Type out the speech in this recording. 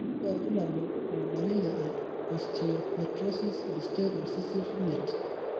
kakwa irbulabol o dalili e Osteopetrosis BsteI recessive 5?